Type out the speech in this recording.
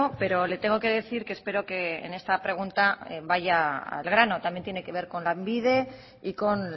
pero le tengo que decir que espero que en esta pregunta vaya al grano también tiene que ver con lanbide y con